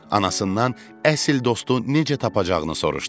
Anasından əsl dostu necə tapacağını soruşdu.